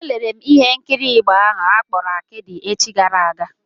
Elere m ihe nkiri Igbo ahụ akpọrọ Akịdị echi gara aga.